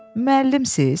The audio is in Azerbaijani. Müəllimsiz?